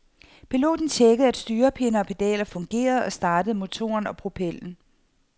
Piloten tjekkede, at styrepinde og pedaler fungerede, og startede motoren og propellen.